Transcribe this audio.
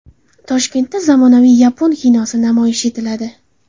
Toshkentda zamonaviy yapon kinosi namoyish etiladi.